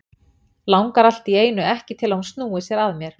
Langar allt í einu ekki til að hún snúi sér að mér.